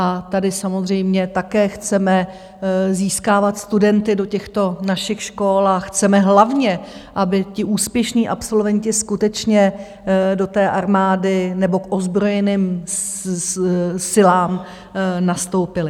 A tady samozřejmě také chceme získávat studenty do těchto našich škol a chceme hlavně, aby ti úspěšní absolventi skutečně do té armády nebo k ozbrojeným silám nastoupili.